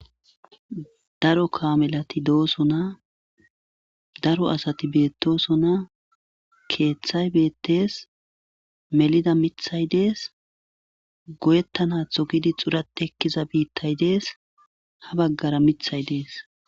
Daro kamelati dosona daro asati betosona kethay betese melida mithay des goyetanatho gidi xurtati ekkiza bitay des ha bagara mithay des